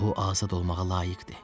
O azad olmağa layiqdir.